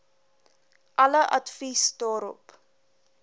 alle advies daarop